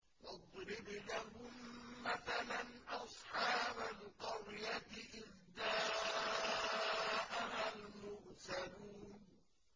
وَاضْرِبْ لَهُم مَّثَلًا أَصْحَابَ الْقَرْيَةِ إِذْ جَاءَهَا الْمُرْسَلُونَ